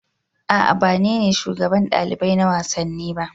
A'a ba ni ne shugaban ɗalibai na wasanni ba